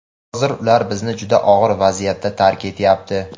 Hozir ular bizni juda og‘ir vaziyatda tark etyapti.